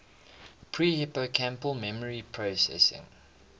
pre hippocampal memory processing